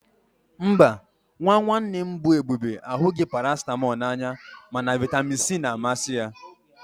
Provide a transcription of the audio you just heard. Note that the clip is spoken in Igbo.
Mba, nwa nwanne m bụ Ebube ahụghị Paracịtamọl n'anya mana vitamin C na-amasị ya